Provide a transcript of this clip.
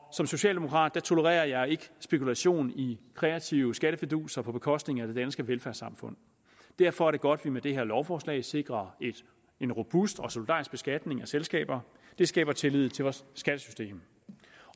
som socialdemokrat tolererer jeg ikke spekulation i kreative skattefiduser på bekostning af det danske velfærdssamfund derfor er det godt at vi med det her lovforslag sikrer en robust og solidarisk beskatning af selskaber det skaber tillid til vores skattesystem